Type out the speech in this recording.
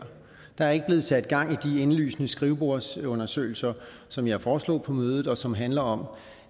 der er ikke blevet sat gang i de indlysende skrivebordsundersøgelser som jeg foreslog på mødet og som handler om